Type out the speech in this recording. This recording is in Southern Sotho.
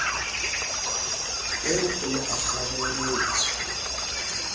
eo o ne a kgabelletswe